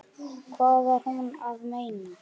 Hvað var hún að meina?